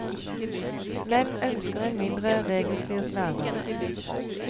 Menn ønsker en mindre regelstyrt hverdag.